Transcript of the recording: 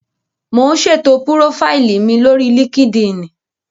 Mò ún ṣètò púrófáìlì mi lórí líkídíìnì